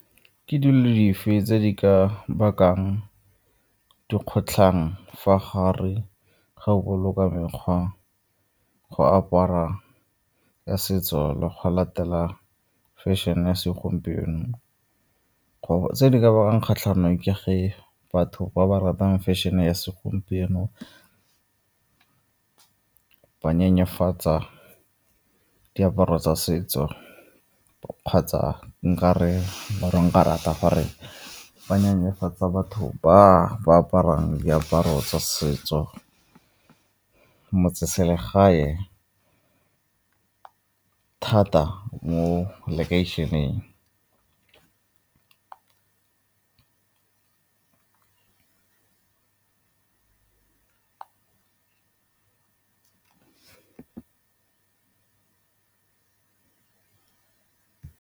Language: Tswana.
Ke dilo dife tse di ka bakang dikgotlhang fa gare ga o boloka mekgwa go apara ya setso le go latela fashion-e ya segompieno. Tse di ka bakang kgatlhano ke ge batho ba ba ratang fashion-e ya segompieno ba nyenyefatsa diaparo tsa setso kgotsa nka re or-e nka rata gore ba nyenyefatsa batho ba ba aparang diaparo tsa setso, motseselegae thata mo lekeišeneng.